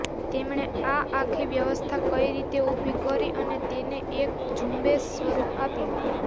તેમણે આ આખી વ્યવસ્થા કઈ રીતે ઊભી કરી અને તેને એક ઝુંબેશનું સ્વરૂપ આપ્યું